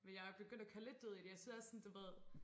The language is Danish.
Men jeg er begyndt at køre lidt død i det jeg synes også sådan du ved